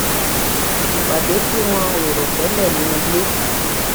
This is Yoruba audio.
ìpàdé tí wọn ò rò télè ní ilé